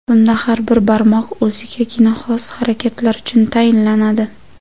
Bunda har bir barmoq o‘zigagina xos harakatlar uchun tayinlanadi.